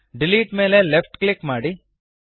delete ಮೇಲೆ left click ಮಾಡಿ